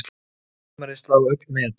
Mun sumarið slá öll met